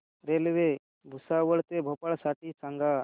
railway Bhusawal ते भोपाळ साठी सांगा